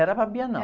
Era para a Bienal.